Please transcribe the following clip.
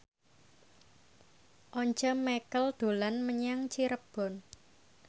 Once Mekel dolan menyang Cirebon